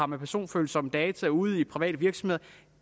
med personfølsomme data ude i private virksomheder